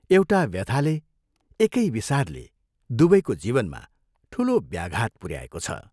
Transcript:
एउटा व्यथाले, एकै विषादले दुवैको जीवनमा ठूलो व्याघात पुऱ्याएको छ।